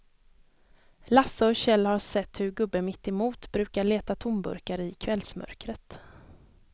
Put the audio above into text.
Lasse och Kjell har sett hur gubben mittemot brukar leta tomburkar i kvällsmörkret.